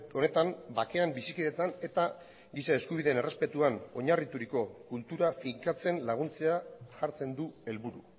honetan bakean bizikidetzan eta giza eskubideen errespetuan oinarrituriko kultura finkatzen laguntzea jartzen du helburu